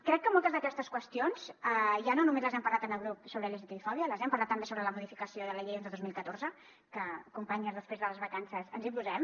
crec que moltes d’aquestes qüestions ja no només les hem parlat en el grup sobre lgtbi fòbia les hem parlat també sobre la modificació de la llei onze dos mil catorze que companyes després de les vacances ens hi posem